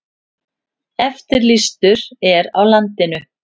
Eftirlýstur er á landinu